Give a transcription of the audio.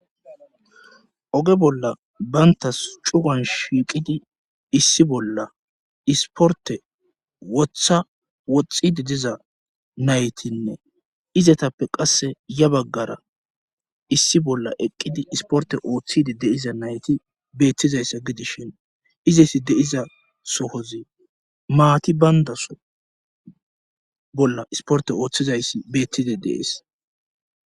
Oge bolla bayntas cugan shiiqidi issi bolla isporte woththa woxxidi diza naytinne izatappe qasse ya baggara issi bolla eqqidi isporte ooththide deiza nayti beettizayssa gidishin izaysi deiza sohozi maati bayndaso bolla isporte ooththizayssi beettide deees.